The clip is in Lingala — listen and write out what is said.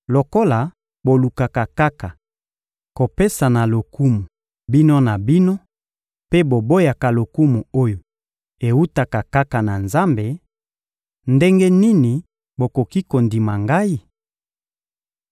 Lokola bolukaka kaka kopesana lokumu bino na bino mpe boboyaka lokumu oyo ewutaka kaka na Nzambe, ndenge nini bokoki kondima Ngai?